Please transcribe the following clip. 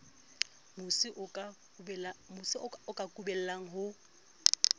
mosi o ka kubellang ho